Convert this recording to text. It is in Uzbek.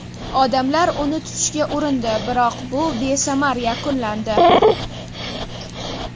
Odamlar uni tutishga urindi, biroq bu besamar yakunlandi.